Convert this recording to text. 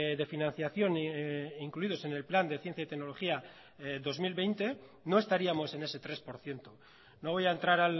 de financiación incluidos en el plan de ciencia y tecnología dos mil veinte no estaríamos en ese tres por ciento no voy a entrar